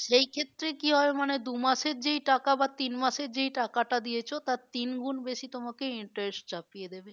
সেই ক্ষেত্রে কি হয় মানে দু মাসের যেই টাকা বা তিন মাসের যেই টাকা দিয়েছো তার তিন গুন্ বেশি তোমাকে interest চাপিয়ে দেবে